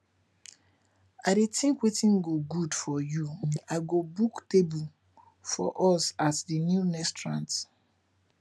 i dey think wetin go good for you i go book table for us at di new restaurant